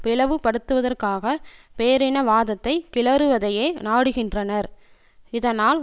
பிளவுபடுத்துவதற்காக பேரினவாதத்தை கிளறுவதையே நாடுகின்றனர் இதனால்